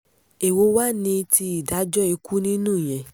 èwo wàá ní ti ìdájọ́ ikú nínú ìyẹn